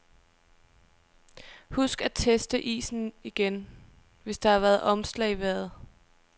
Husk at teste isen igen, hvis der har været omslag i vejret.